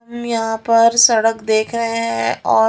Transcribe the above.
हम यहाँ पर सड़क देख रहे हैं और--